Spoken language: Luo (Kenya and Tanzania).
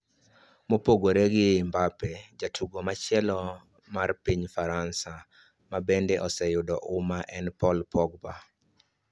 Mopogore gi Mbappe, jatugo machielo mar piny Faransa ma bende oseyudo huma en Paul Pogba.